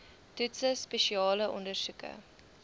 toetse spesiale ondersoeke